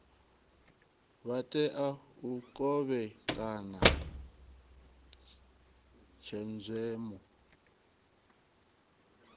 vha tea u kovhekana tshenzhemo